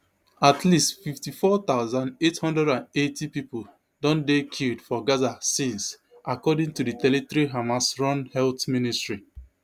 at least fifty-four thousand, eight hundred and eighty pipo don dey killed for gaza since according to di territory hamasrun health ministry